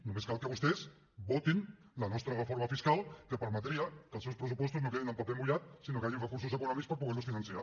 només cal que vostès votin la nostra reforma fiscal que permetria que els seus pressupostos no quedin en paper mullat sinó que hi hagin recursos econòmics per poder los finançar